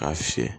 K'a fiyɛ